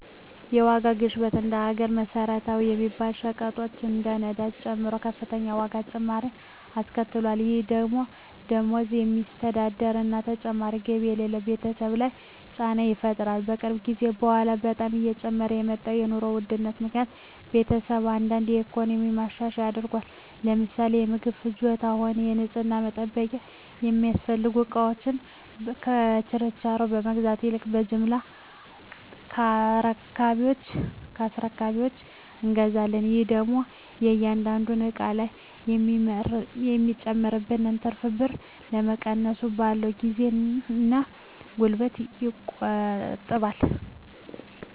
የዋጋ ግሽበት እንደ ሀገር መሰረታዊ በሚባሉ ሸቀጦች ላይ ነዳጅን ጨምሮ ከፍተኛ የዋጋ ጭማሪ አስከትሏል። ይህ ደግሞ በደሞዝ በሚስተዳደር እና ተጨማሪ ገቢ በሌለው ቤተሰብ ላይ ጫና ይፈጥራል። ከቅርብ ጊዜ በኃላ በጣም እየጨመረ በመጣው የኑሮ ውድነት ምክኒያት ቤተሰቤ አንዳንድ የኢኮኖሚ ማሻሻያዎች አድርጓል። ለምሳሌ ለምግብ ፍጆታም ሆነ ለንፅህና መጠበቂያ የሚያስፈልጉ እቃወችን በችርቻሮ ከመግዛት ይልቅ በጅምላ ከአስረካቢወች እንገዛለን። ይህ ደግሞ ከእያንዳንዱ እቃ ላይ የሚጨመርብንን ትርፍ ብር ከመቀነሱም ባለፈ ጊዜን እና ጉልበትን ይቆጥባል።